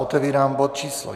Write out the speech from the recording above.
Otevírám bod číslo